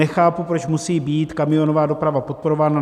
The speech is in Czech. Nechápu, proč musí být kamionová doprava podporována.